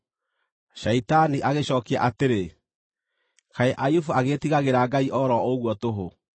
Shaitani agĩcookia atĩrĩ, “Kaĩ Ayubu agĩĩtigagĩra Ngai o ro ũguo tũhũ?